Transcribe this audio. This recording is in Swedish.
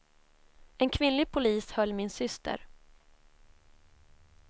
En kvinnlig polis höll min syster.